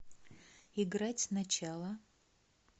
играть сначала